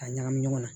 K'a ɲagami ɲɔgɔn na